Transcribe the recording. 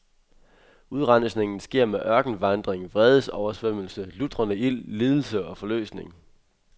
Udrensningen sker med ørkenvandring, vredesoversvømmelse, lutrende ild, lidelse og forløsning.